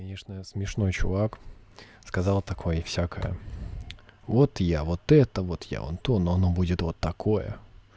конечно смешной чувак сказал такой всякая вот я вот это вот я антон она будет вот такое